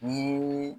Ni